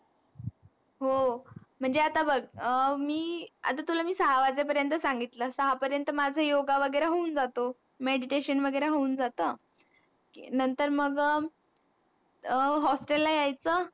हो म्हनजे आता बघ अं मी आता तुला मी सहा वाजे पयंत सांगितलं सहा पयंत माझ योगा वगैरा होऊन जातो. Meditation वगैरे होऊन जातं नंतर मग अह Hostel ला यायचं.